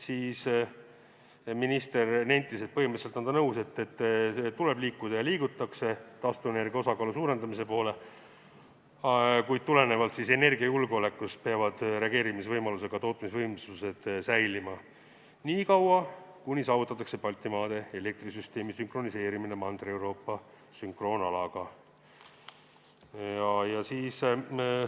Minister nentis, et põhimõtteliselt on ta nõus, et tuleb liikuda ja liigutaksegi taastuvenergia osakaalu suurendamise poole, kuid tulenevalt energiajulgeolekust peavad reageerimisvõimalusega tootmisvõimsused säilima nii kaua, kuni saavutatakse Baltimaade elektrisüsteemi sünkroniseerimine Mandri-Euroopa sünkroonalaga.